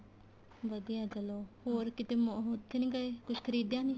ਵਧੀਆ ਚਲੋ ਹੋਰ ਕਿਤੇ ਉੱਥੇ ਨੀਂ ਗਏ ਕੁੱਝ ਖਰੀਦਿਆ ਨੀਂ